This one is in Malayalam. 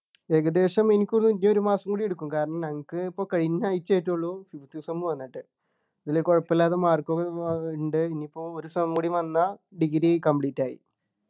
ഏകദേശം എനിക്ക് തോന്നു ഇ ഒരു മാസം കൂടി എടുക്കും കാരണം നമുക് പ്പോ കഴിഞ്ഞ ആഴ്ച ആയിട്ടുള്ളു fifth sem വന്നിട്ട് പിന്നെ കുഴപ്പമില്ലാത്ത mark ഏർ ഉണ്ട് ഇനിപ്പോ ഒരു sem കൂടി വന്നാ degree complete ആയി